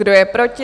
Kdo je proti?